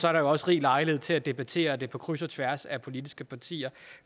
er der også rig lejlighed til at debattere det på kryds og tværs af de politiske partier